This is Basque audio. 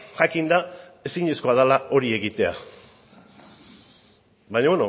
jakinda ezinezkoa dela hori egitea baina